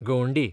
गवंडी